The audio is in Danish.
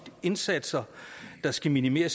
indsatser der skal minimere